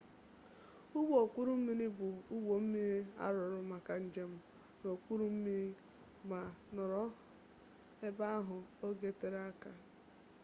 ụgbọ okpuru mmiri bụ ụgbọ mmiri arụrụ maka njem n'okpuru mmiri ma nọrọ ebe ahụ oge tere aka